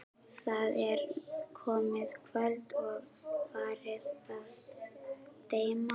Það er komið kvöld og farið að dimma.